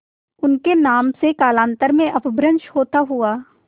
उनके नाम से कालांतर में अपभ्रंश होता हुआ